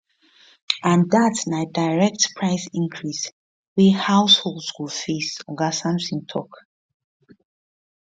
and dat na direct price increase wey households go face oga sampson tok